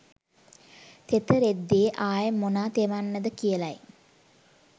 තෙත රෙද්දෙ ආය මොනා තෙමෙන්නද කියලයි